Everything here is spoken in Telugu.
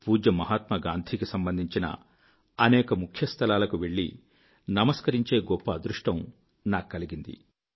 పూజ్య మహాత్మాగాంధీ కి సంబంధించిన అనేక ముఖ్యస్థలాలకు వెళ్ళి నమస్కరించే గొప్ప అదృష్టం నాకు కలిగింది